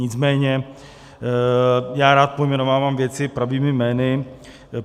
Nicméně já rád pojmenovávám věci pravými jmény.